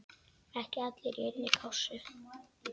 Ekki allir í einni kássu!